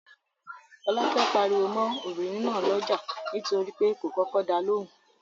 Fọ́lákẹ́ pariwo mọ́ obìnrin náà lọ́jà nítorí pé kò kọ́kọ́ da lóhùn.